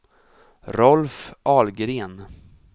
Rolf Ahlgren